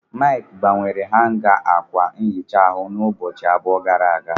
Mike gbanwere hanga ákwà nhicha ahu n'ụbọchị abụọ gara aga.